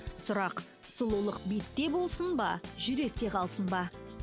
сұрақ сұлулық бетте болсын ба жүректе қалсын ба